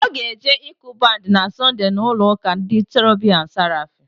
Ọ ga-eje ịkụ bandị na Sọnde n'ụlọụ́kà ndị Cherobim na Serafim.